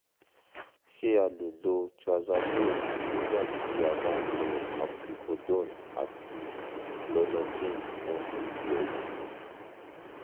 ṣé a lè lo trazadone nígbà tí a bá ń lo oxycodone àti klonopin fún ptsd